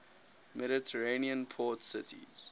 mediterranean port cities